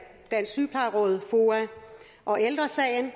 dansk sygeplejeråd foa og ældre sagen